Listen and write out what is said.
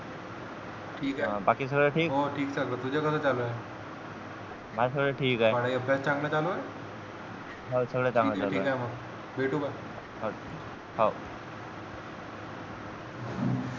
ठीक आहे बाकी सगळं ठीक हो तुझ्या कळे कसं चालू आहे माझं सगळं ठीक आहे हो सगळं चंगळ चालू आहे ठीक आहे मग भेटू या मग भेटू मग